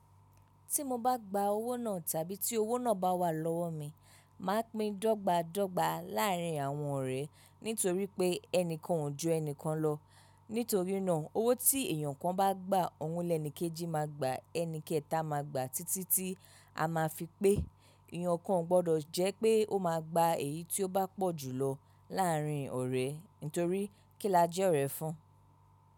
Tí mo bá gba owó náà tàbí tí owó náà bá wà lọ́wọ́ mi, mà á pín dọ́gba dọ́gba láàrin àwọn ọ̀rẹ́ nítorí pé ẹni kan o ju ẹni kan lọ. Nítorí náà owó tí èyàn kan bá gba, òun lẹni kejì máa gba, ẹni kẹta máa gba títí tí a máa fi pé èyàn kan gbọdọ̀ jẹ́ pé ó máa gba èyí tí ó bá pọ̀ jù lọ láàrin ọ̀rẹ́ nítorí kílàjẹ ọ̀rẹ́ fún.